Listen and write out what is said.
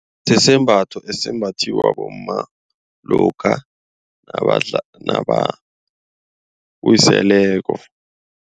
Sisembatho esimbathiwa bomma lokha nabawiseleko.